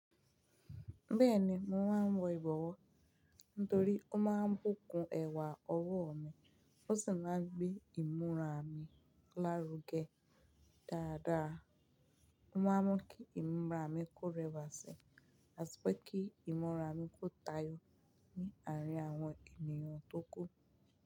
Bẹ́ẹ̀ni, mo máa ń wọ ìbọwọ́ nítorí ó máa ń bùkún ẹwà ọwọ́ mi, ó sì máa ń gbé ìmúra mi lárugẹ dáadáa. Mo máa mọ̀ kí ìmúra mi kó rẹwà sí, àti pé kí ìmúra mi kó tayọ ní àárín àwọn ènìyàn tó kù.